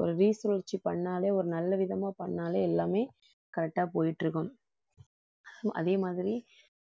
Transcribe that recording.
ஒரு சுழற்சி பண்ணாலே ஒரு நல்ல விதமா பண்ணாலே எல்லாமே correct ஆ போயிட்டு இருக்கும். அதே மாதிரி